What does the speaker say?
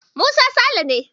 Musa Sale ne.